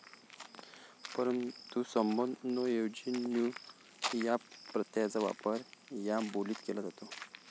परंतु संबोधन ''नो' ऐवजी 'न्यू' या प्रत्ययाचा वापर या बोलीत केला जातो.